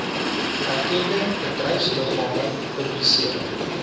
erkende bedryfsliggame publiseer